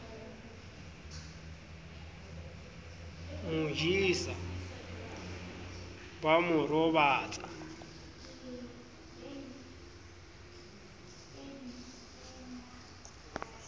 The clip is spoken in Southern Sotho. mo jesa ba mo robatsa